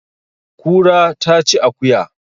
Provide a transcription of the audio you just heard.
Kura ta ci akuya